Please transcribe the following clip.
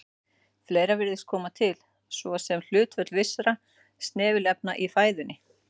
Fleira virðist koma til, svo sem hlutföll vissra snefilefna í fæðunni.